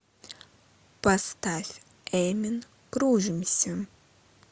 поставь эмин кружимся